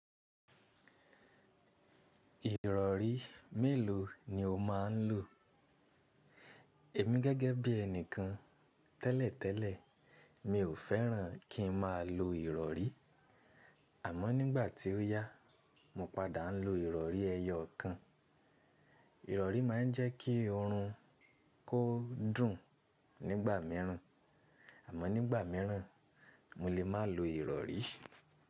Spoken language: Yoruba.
Ìrọ̀rí mélòó ni o máa ń lò? Èmi gẹ́gẹ́ bí ẹni kan tẹ́lẹ̀tẹ́lẹ̀, mi ò fẹ́ràn kí n má lo ìrọ̀rí. Àmọ́ nígbà tí ó yá, mo padà ń lo ìrọ̀rí ẹyọ kan. Ìrọ̀rí máa ń jẹ́ kí oorun kó dùn nígbà míràn, àmọ́ nígbà míràn mo lè má lo ìrọ̀rí.